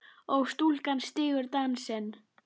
og stúlkan stígur dansinn